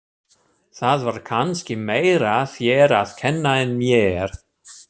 Það var kannski meira þér að kenna en mér.